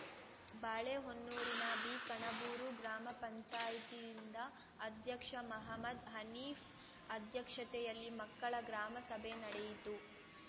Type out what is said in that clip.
ಬಾಳೆಹೊನ್ನೂರಿನ ಬಿಕಣಬೂರು ಗ್ರಾಮ ಪಂಚಾಯ್ತಿ ಯಿಂದ ಅಧ್ಯಕ್ಷ ಮಹಮ್ಮದ್‌ ಹನೀಫ್‌ ಅಧ್ಯಕ್ಷತೆಯಲ್ಲಿ ಮಕ್ಕಳ ಗ್ರಾಮಸಭೆ ನಡೆಯಿತು